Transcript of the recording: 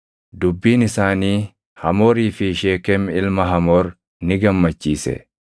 Dubbiin isaanii Hamoorii fi Sheekem ilma Hamoor ni gammachiise.